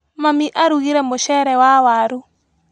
Mami arugire mũcere wa waru.